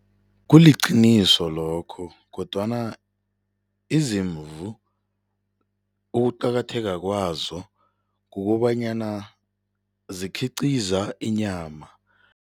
Kuliqiniso lokho kodwana izimvu ukuqakatheka kwazo kukobanyana zikhiqiza inyama.